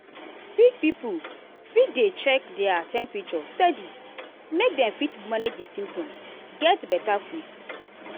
sick pipo fit dey check their temperature steady make dem fit manage di symptoms get beta quick.